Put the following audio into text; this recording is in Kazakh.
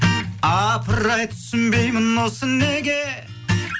апыр ай түсінбеймін осы неге